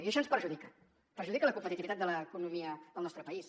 i això ens perjudica perjudica la competitivitat de l’economia del nostre país